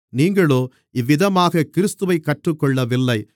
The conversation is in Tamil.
நீங்களோ இந்தவிதமாகக் கிறிஸ்துவைக் கற்றுக்கொள்ளவில்லை